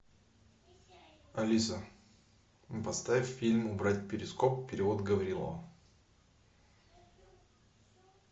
алиса поставь фильм убрать перископ перевод гаврилова